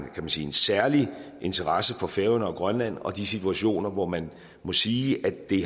særlig interesse for færøerne og grønland og de situationer hvor man må sige at det